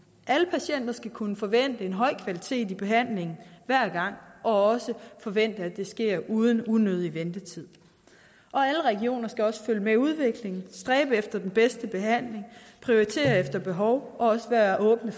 alle patienter skal kunne forvente en høj kvalitet i behandlingen hver gang og også forvente at det sker uden unødig ventetid og alle regioner skal også følge med udviklingen stræbe efter den bedste behandling prioritere efter behov og også være åbne